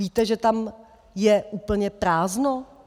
Víte, že tam je úplně prázdno?